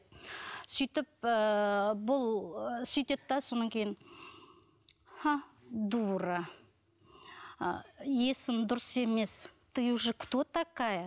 сөйтіп ііі бұл сөйтеді де содан кейін дура і есің дұрыс емес ты уже кто такая